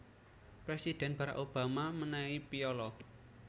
Presidhen Barrack Obama menehi piyala